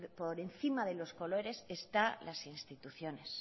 por encima de los colores están las instituciones